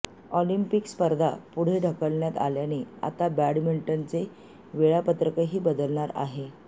Olympic स्पर्धा पुढे ढकलण्यात आल्याने आता बॅडमिंटनचे वेळापत्रकही बदलणार आहे